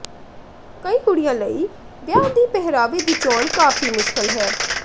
ਕਈ ਕੁੜੀਆਂ ਲਈ ਵਿਆਹ ਦੀ ਪਹਿਰਾਵੇ ਦੀ ਚੋਣ ਕਾਫੀ ਮੁਸ਼ਕਿਲ ਹੈ